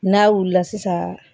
N'a wulila sisan